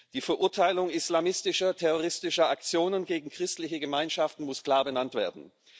Die Verurteilung islamistischer terroristischer Aktionen gegen christliche Gemeinschaften muss klar benannt werden.